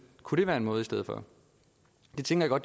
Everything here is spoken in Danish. kunne det være en måde i stedet for det tænker